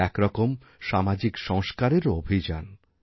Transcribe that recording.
এ এক রকম সামাজিক সংস্কারেরও অভিযান